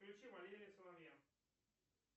включи валерия соловья